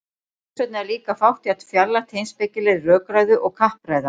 þess vegna er líka fátt jafn fjarlægt heimspekilegri rökræðu og kappræða